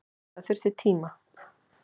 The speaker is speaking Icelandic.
Það þurfti tíma.